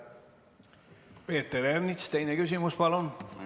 Peeter Ernits, teine küsimus, palun!